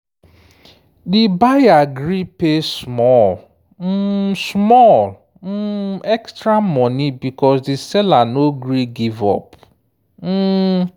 di buyer gree pay small um small um extra money because di seller no gree give up. um